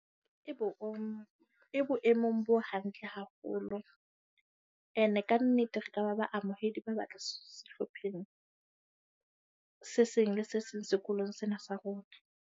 E bo e boemong bo hantle haholo. Ene kannete re ka ba ba amohedi, ba batle sehlopheng se seng le se seng sekolong sena sa rona.